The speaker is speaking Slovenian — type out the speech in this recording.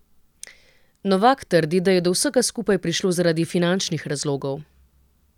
Novak trdi, da je do vsega skupaj prišlo zaradi finančnih razlogov.